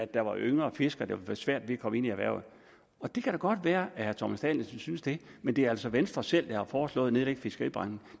der være yngre fiskere der få svært ved at komme ind i erhvervet det kan da godt være at herre thomas danielsen synes det men det er altså venstre selv der har foreslået at nedlægge fiskeribanken